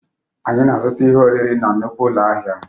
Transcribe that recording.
Anyị na-azụta ihe oriri na nnukwu ụlọ ahịa